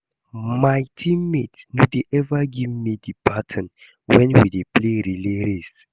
My teammates no dey ever give me the baton wen we dey play relay race